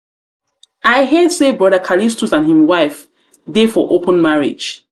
i hear say brother callistus and him wife dey for open marriage.